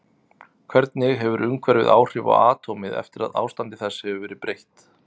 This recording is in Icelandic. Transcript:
Hvernig hefur umhverfið áhrif á atómið eftir að ástandi þess hefur verið breytt?